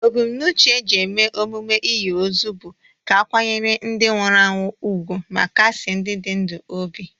Ebumnuche eji eme emume inyi ozu bụ ka akwanyere ndi nwụrụ anwụ ugwu ma kasie ndi dị ndụ obi.